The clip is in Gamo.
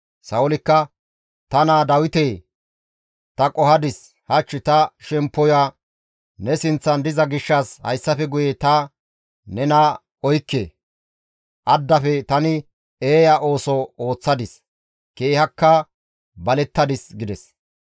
Sa7oolikka, «Ta naa Dawitee! Ta qohadis; hach ta shemppoya ne sinththan diza gishshas hayssafe guye ta nena qohikke; addafe tani eeya ooso ooththadis; keehakka balettadis» gides.